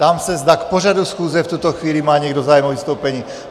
Ptám se, zda k pořadu schůze v tuto chvíli má někdo zájem o vystoupení.